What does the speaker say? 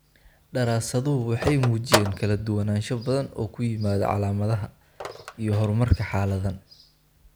Daraasaduhu waxay muujiyeen kala duwanaansho badan oo ku yimaadda calaamadaha, calaamadaha iyo horumarka xaaladdan.